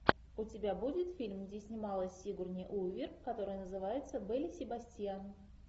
у тебя будет фильм где снималась сигурни уивер который называется белль и себастьян